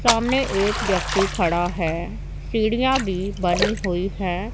सामने एक व्यक्ति खड़ा है सीढ़ियां भी बनी हुई है।